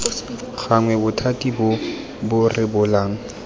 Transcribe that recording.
gannwe bothati bo bo rebolang